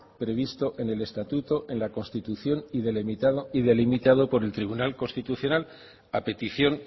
previsto en el estatuto en la constitución y delimitado por el tribunal constitucional a petición